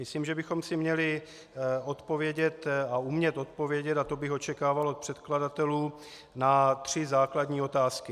Myslím, že bychom si měli odpovědět a umět odpovědět, a to bych očekával od předkladatelů, na tři základní otázky.